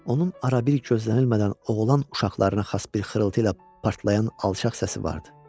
Onun ara-bir gözlənilmədən oğlan uşaqlarına xas bir xırıltı ilə partlayan alçaq səsi vardı.